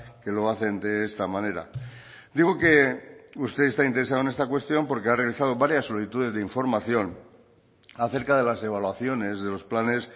que lo hacen de esta manera digo que usted está interesado en esta cuestión porque ha realizado varias solicitudes de información acerca de las evaluaciones de los planes